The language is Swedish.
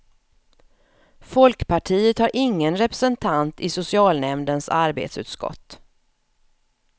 Folkpartiet har ingen representant i socialnämndens arbetsutskott.